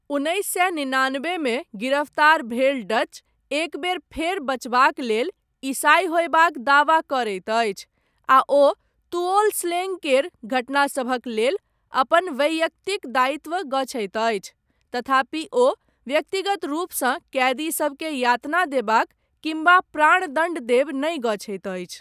उन्नैस सए निनानबेमे गिरफ्तार भेल डच, एक बेर फेर बचबाक लेल, ईसाइ होयबाक दावा करैत अछि, आ ओ तुओल स्लेङ्ग केर घटनासभक लेल, अपन वैयक्तिक दायित्व गछैत अछि, तथापि ओ व्यक्तिगत रूपसँ, कैदी सबकेँ यातना देबाक, किम्बा प्राण दण्ड देब, नहि गछैत अछि।